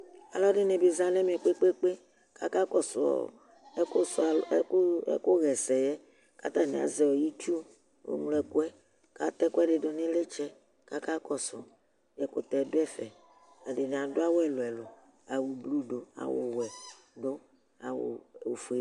alʋɛdini bi za nɛvɛ kpekpekpe kʋ aka kɔsʋ ɔ ɛkʋ ɛkʋ yɛsɛ katani azɛ itsʋ mʋlo ɛkʋɛ kʋ atɛ ekʋɛdidu ni itsɛ kʋ akakɔsu ɛkʋtɛ du ɛfɛ edini adu awʋ ɛlʋ ɛlʋ awʋ blʋ du awʋwɛ du awʋ ofuɛ